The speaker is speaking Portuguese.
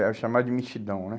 Era o chamado de mexidão, né?